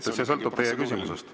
See sõltub teie küsimusest.